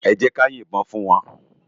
Èjèká yin bòn fún wán